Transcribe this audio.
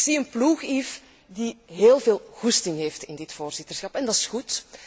Ik zie een ploeg, Yves, die heel veel goesting heeft in dit voorzitterschap en dat is goed.